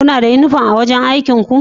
Kuna da uniform a'wajen aikin ku?